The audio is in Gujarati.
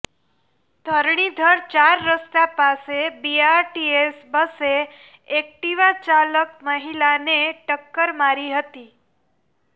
ધરણીધર ચાર રસ્તા પાસે બીઆરટીએસ બસે એક્ટિવા ચાલક મહિલાને ટકકર મારી હતી